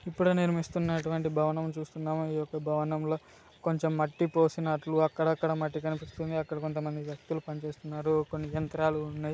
ఇప్పుడే నిర్మిస్తునట్టువంటి భవనం చుస్తునాం ఈ యొక్క భవనం లో కొంచం మట్టి పోసినట్లు అక్కడ అక్కడ మట్టి కనిపిస్తుంది అక్కడ కొంత మంది వ్యక్తులు పని చేస్తున్నారు కొన్ని యంత్రాలు ఉన్నాయి.